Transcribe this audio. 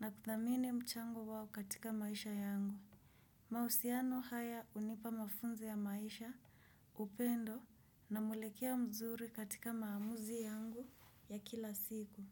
na kuthamini mchango wao katika maisha yangu. Mahusiano haya unipa mafunzi ya maisha upendo na mwelekea mzuri katika maamuzi yangu ya kila siku.